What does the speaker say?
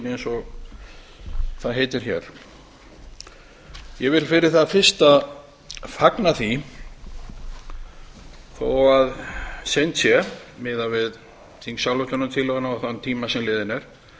eins og það heitir hér ég vil fyrir það fyrsta fagna því þó að seint sé miðað við þingsályktunartillöguna og þann tíma sem liðinn er